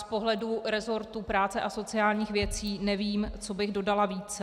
Z pohledu resortu práce a sociálních věcí nevím, co bych dodala více.